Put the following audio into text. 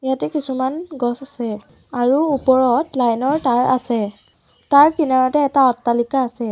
ইয়াতে কিছুমান গছ আছে আৰু ওপৰত লাইন ৰ তাঁৰ আছে তাৰ কিনাৰতে এটা অট্টালিকা আছে।